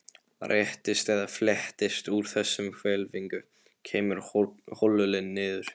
Réttist eða fletjist úr þessari hvelfingu, kemur holilin niður.